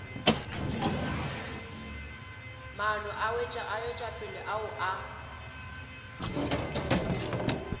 maano a wetšopele ao a